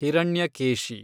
Hiranyakeshi